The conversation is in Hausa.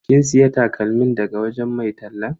Kin siya takalmin daga wajen mai tallan?